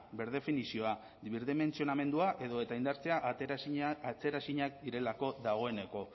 berdefinizioa birdementsionamendua edo eta indartzea atzeraezinak direlako dagoeneko